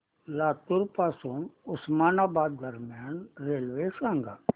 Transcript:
लातूर पासून उस्मानाबाद दरम्यान रेल्वे सांगा